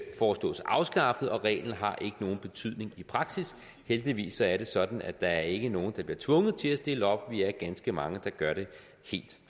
foreslås afskaffet reglen har ikke nogen betydning i praksis heldigvis er det sådan at der ikke er nogen der bliver tvunget til at stille op vi er ganske mange der gør det helt